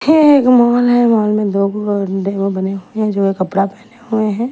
ये एक मॉल है मॉल में दो डेमो बने हुए हैं जो कपड़ा पहने हुए हैं।